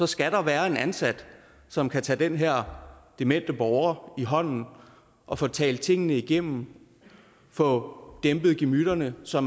skal der være en ansat som kan tage den her demente borger i hånden og få talt tingene igennem få dæmpet gemytterne så